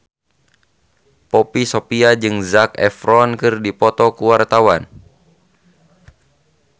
Poppy Sovia jeung Zac Efron keur dipoto ku wartawan